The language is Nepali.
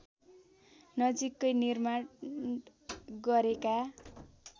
नजिकै निर्माण गरेका